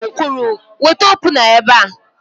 M kwuru, weta opuna ebe a!